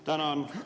Tänan!